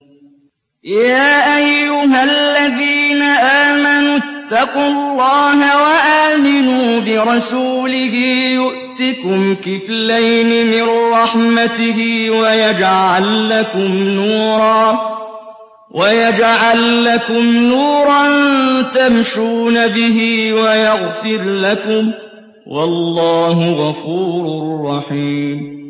يَا أَيُّهَا الَّذِينَ آمَنُوا اتَّقُوا اللَّهَ وَآمِنُوا بِرَسُولِهِ يُؤْتِكُمْ كِفْلَيْنِ مِن رَّحْمَتِهِ وَيَجْعَل لَّكُمْ نُورًا تَمْشُونَ بِهِ وَيَغْفِرْ لَكُمْ ۚ وَاللَّهُ غَفُورٌ رَّحِيمٌ